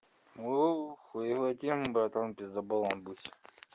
оо хуёвая тема братан пиздаболом быть